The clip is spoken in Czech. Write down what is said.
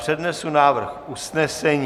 Přednesu návrh usnesení.